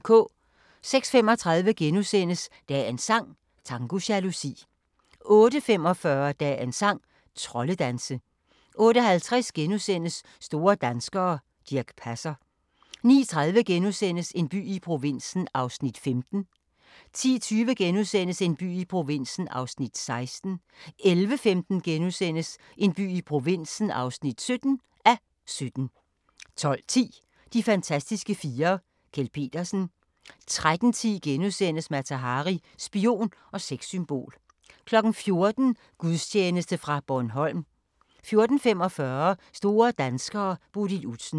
06:35: Dagens sang: Tango jalousi * 08:45: Dagens sang: Troldedanse 08:50: Store danskere - Dirch Passer * 09:30: En by i provinsen (15:17)* 10:20: En by i provinsen (16:17)* 11:15: En by i provinsen (17:17)* 12:10: De fantastiske fire: Kjeld Petersen 13:10: Mata Hari – spion og sexsymbol * 14:00: Gudstjeneste fra Bornholm 14:45: Store danskere: Bodil Udsen